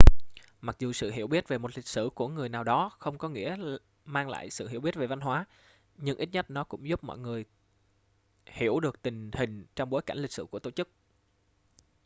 mặc dù sự hiểu biết về một lịch sử của người nào đó không có nghĩa mang lại sự hiểu biết về văn hóa nhưng ít nhất nó cũng giúp mọi người hiểu được tình hình trong bối cảnh lịch sử của tổ chức